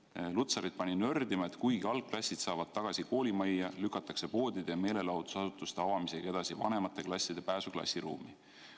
Irja Lutsarit pani nördima, et kuigi algklassid saavad tagasi koolimajja, lükatakse poodide ja meelelahutusasutuste avamisega edasi vanemate klasside pääsu klassiruumi.